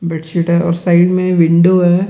Bedsheet और side में window है।